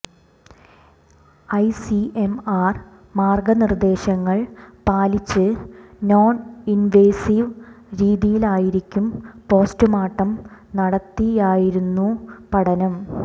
ICMR മാർഗ്ഗനിർദ്ദേശങ്ങൾ പാലിച്ച് non invasive രീതിയിലായിരിക്കും പോസ്റ്റുമോർട്ടം നടത്തിയായിരുന്നു പഠനം